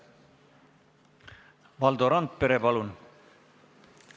Valdo Randpere, palun!